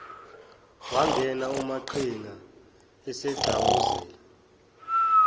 wangena umaqhinga esegxawuzela